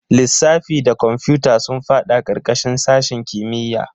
Lissafi da kwamfuta sun fada karkashin sashen kimiyya.